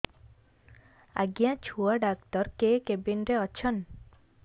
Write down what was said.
ଆଜ୍ଞା ଛୁଆ ଡାକ୍ତର କେ କେବିନ୍ ରେ ଅଛନ୍